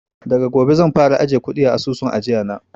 Daga gobe zan fara ajiye kuɗi a asusun ajiya na